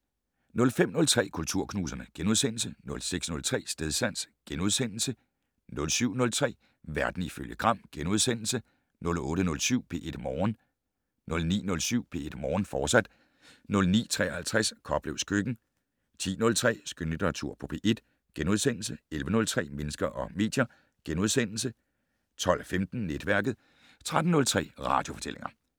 05:03: Kulturknuserne * 06:03: Stedsans * 07:03: Verden ifølge Gram * 08:07: P1 Morgen 09:07: P1 Morgen, fortsat 09:53: Koplevs køkken 10:03: Skønlitteratur på P1 * 11:03: Mennesker og medier * 12:15: Netværket 13:03: Radiofortællinger